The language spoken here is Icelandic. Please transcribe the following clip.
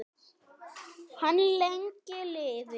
Hann lengi lifi.